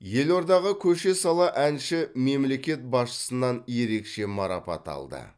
елордаға көше сала әнші мемлекет басшысынан ерекше марапат алды